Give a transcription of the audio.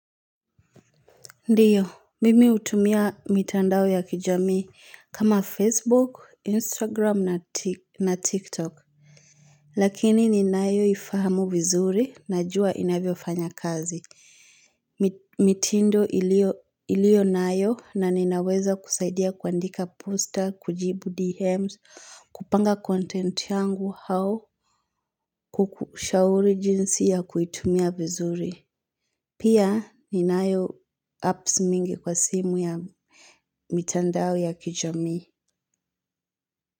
Ndiyo, mimi utumia mitandao ya kijami kama Facebook, Instagram na TikTok. Lakini ni nayo ifahamu vizuri na jua inavyofanya kazi. Mitindo iliyo nayo na ninaweza kusaidia kuandika poster, kujibu DMs, kupanga content yangu au, kukushauri jinsi ya kuitumia vizuri. Pia ninayo apps mingi kwa simu ya mitandao ya kijamii.